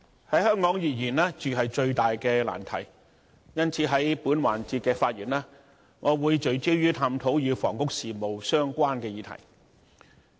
在香港而言，住是最大的難題，因此，在本環節的發言，我會聚焦探討與房屋事務相關的議題。